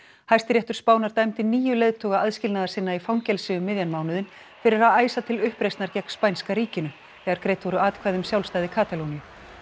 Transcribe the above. Hæstiréttur Spánar dæmdi níu leiðtoga aðskilnaðarsinna í fangelsi um miðjan mánuðinn fyrir að æsa til uppreisnar gegn spænska ríkinu þegar greidd voru atkvæði um sjálfstæði Katalóníu